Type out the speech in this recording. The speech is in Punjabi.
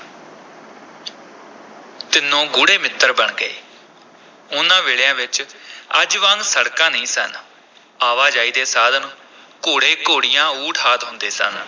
ਤਿੰਨੋਂ ਗੂੜ੍ਹੇ ਮਿੱਤਰ ਬਣ ਗਏ, ਉਨ੍ਹਾਂ ਵੇਲਿਆਂ ਵਿਚ ਅੱਜ ਵਾਂਗ ਸੜਕਾਂ ਨਹੀਂ ਸਨ, ਆਵਾਜਾਈ ਦੇ ਸਾਧਨ ਘੋੜੇ-ਘੋੜੀਆਂ, ਊਠ ਆਦਿ ਹੁੰਦੇ ਸਨ।